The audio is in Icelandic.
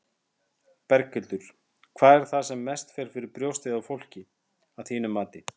Berghildur: Hvað er það sem mest fer fyrir brjóstið á fólki, að þínu mati?